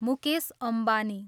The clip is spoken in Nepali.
मुकेश अम्बानी